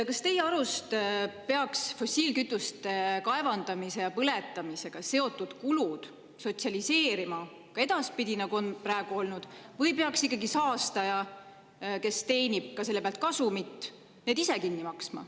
Kas teie arust peaks fossiilkütuste kaevandamise ja põletamisega seotud kulusid sotsialiseerima ka edaspidi, nii nagu see seni on olnud, või peaks need kinni maksma ikkagi saastaja, kes teenib selle pealt kasumit?